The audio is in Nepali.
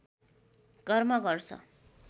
कर्म गर्छ